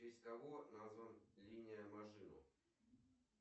в честь кого назван линия мажино